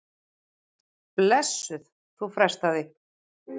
Blessuð, þú frestar því.